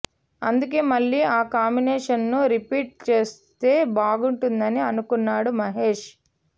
అందుకే మళ్లీ ఆ కాంబినేషన్ను రిపీట్ చేస్తే బాగుంటుందని అనుకున్నాడు మహేష్